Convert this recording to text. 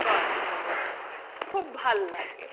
তো আছেই আমাদের, খুব ভাল লাগে।